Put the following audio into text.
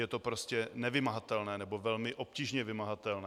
Je to prostě nevymahatelné, nebo velmi obtížně vymahatelné.